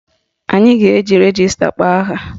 Anyị a ga-eji rejista kpọọ aha?